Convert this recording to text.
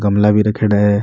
गमला भी रखेड़ा है।